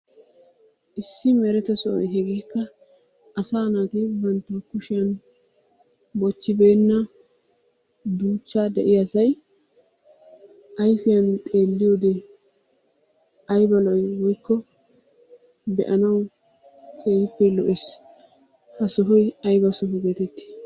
Issi mereta sohoy hegeekka asaa naati bantta kushshiyan bochibeenna duuchcha de'iyasay ayfiyan xeeliyode ayba lo"i woykko be'anawu keehippe lo'ees. Ha sohoy ayba soho getetti?